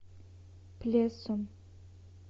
плесом